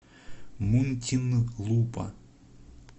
мунтинлупа